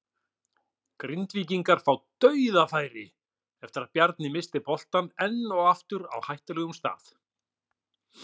Grindvíkingar fá DAUÐAFÆRI eftir að Bjarni missti boltann enn og aftur á hættulegum stað!